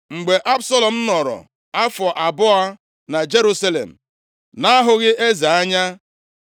Mgbe Absalọm nọrọ afọ abụọ na Jerusalem na-ahụghị eze anya,